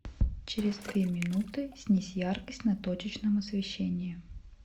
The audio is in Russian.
через две минуты снизь яркость на точечном освещении